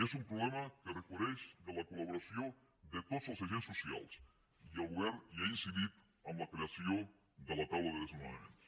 és un problema que requereix la col·laboració de tots els agents socials i el govern hi ha incidit amb la creació de la taula de desnonaments